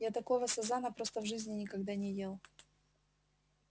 я такого сазана просто в жизни никогда не ел